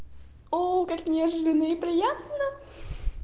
о как неожиданно и приятно